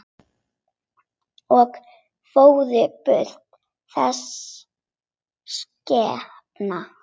Og fór burt, þessi skepna.